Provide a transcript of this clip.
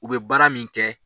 U be baara min kɛ